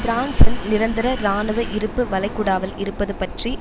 பிரான்சின் நிரந்தர இராணுவ இருப்பு வளைகுடாவில் இருப்பது பற்றி